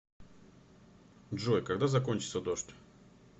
джой когда закончится дождь